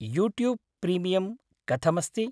YouTube premium कथमस्ति?